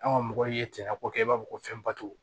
An ka mɔgɔw ye tiɲɛko kɛ i b'a fɔ ko fɛnbato